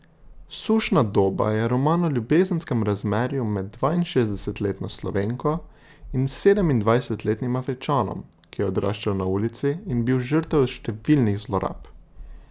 Sušna doba je roman o ljubezenskem razmerju med dvainšestdesetletno Slovenko in sedemindvajsetletnim Afričanom, ki je odraščal na ulici in bil žrtev številnih zlorab.